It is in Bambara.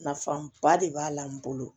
Nafaba de b'a la n bolo